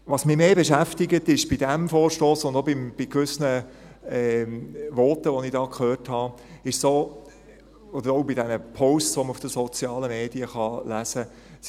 Was mich mehr beschäftigt, ist bei diesem Vorstoss und auch bei gewissen Voten, die ich hier gehört habe, oder auch bei diesen Posts, die man auf den sozialen Medien lesen kann: